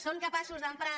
són capaços d’emprar